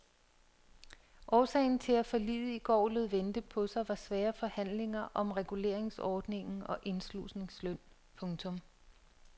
Årsagen til at forliget i går lod vente på sig var svære forhandlinger om reguleringsordningen og indslusningsløn. punktum